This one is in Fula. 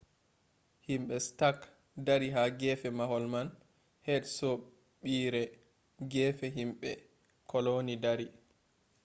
himɓe stak dari ha gefe mahol man heri soɓɓiire gefe himɓe koloni dari